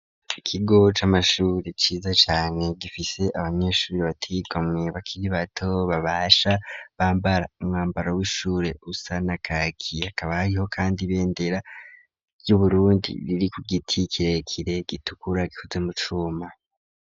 Ikigo c'amashuri ciza cane gifise abanyeshuri bateye igomwe bakiri bato babasha bambara umwambaro w'ishure usa na kaki hakaba hariho kandi ibendera ry'uburundi riri ku giti kirekire gitukura gikozwe mu cuma.